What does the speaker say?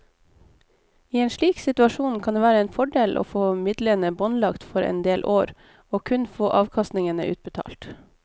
I en slik situasjon kan det være en fordel å få midlene båndlagt for en del år og kun få avkastningen utbetalt.